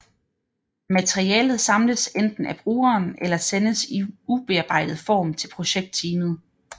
Materialet samles enten af brugeren eller sendes i ubearbejdet form til projektteamet